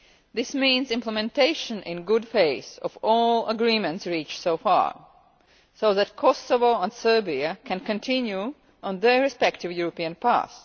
This means implementation in good faith of all agreements reached so far, so that Kosovo and Serbia can continue on their respective European paths.